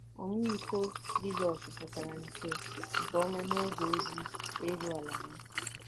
Ọmịiko Jizọs pụtara nke nke ọma n’oge ozi elu ala ya.